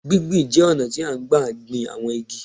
Gbí gbi n jẹ́ ọ̀nà tí à n gbà gbin àwọn igi